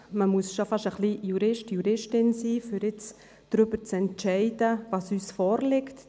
Man muss schon fast ein wenig Juristin oder Jurist sein, um darüber zu entscheiden, was uns vorliegt.